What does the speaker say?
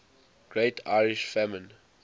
great irish famine